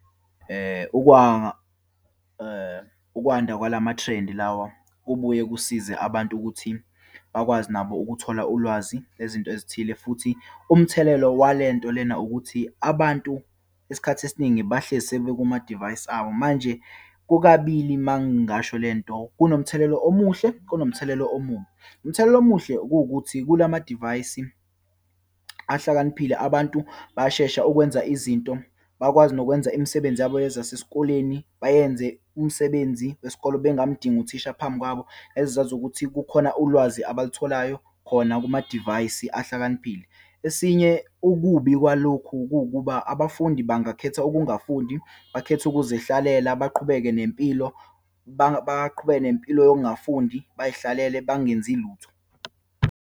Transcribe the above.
Ukwanda kwalamathrendi lawa kubuye kusize abantu ukuthi bakwazi nabo ukuthola ulwazi lezinto ezithile. Futhi umthelelo walento lena ukuthi, abantu isikhathi esiningi bahlezi sebekumadivayisi abo. Manje kukabili uma ngasho lento, kunomthelelo omuhle, kunomthelelo omubi. Umthelelo omuhle, kuwukuthi kulamadivayisi ahlakaniphile, abantu bayashesha ukwenza izinto, bakwazi nokwenza imisebenzi yabo yazasesikoleni, bayenze umsebenzi wesikole bengamdinga uthisha phambi kwabo, ezazi ukuthi kukhona ulwazi abalitholayo khona kumamadivayisi ahlakaniphile. Esinye, ukubi kwalokhu kuwukuba abafundi bangakhetha ungafundi, bakhethe ukuzihlalela, baqhubeke nempilo, baqhubeke nempilo yokungafundi, bayihlalele bangenzi lutho.